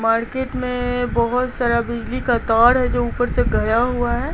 Market में बहुत सारा बिजली का तार है जो ऊपर से घया हुआ है।